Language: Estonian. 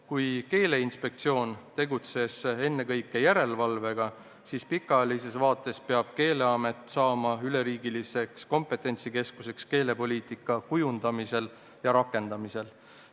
Kui Keeleinspektsioon tegeles ennekõike järelevalvega, siis pikaajalises vaates peab Keeleamet saama üleriigiliseks komptentsikeskuseks keelepoliitika kujundamisel ja rakendamisel.